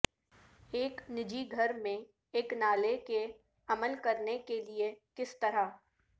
ایک نجی گھر میں ایک نالے کے عمل کرنے کے لئے کس طرح